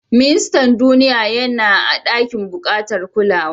Mista Duniya yana a ɗakin bukatar kulawa.